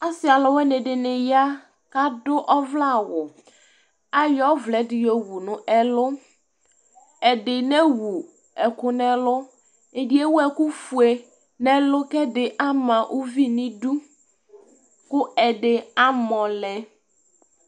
Asi alʋwaŋi ɖíni ya kʋ aɖu ɔvlɛ awu Ayɔ ɔvlɛ ɖi yɔwu ŋu ɛlu Ɛɖì newu ɛku ŋu ɛlu Ɛɖì ewu ɛku fʋe ŋu ɛlu kʋ ɛdí ama ʋvi ŋu iɖʋ kʋ ɛdí amɔlɛ